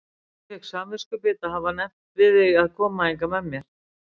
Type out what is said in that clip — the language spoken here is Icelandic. Ég fékk samviskubit að hafa nefnt við þig að koma hingað með mér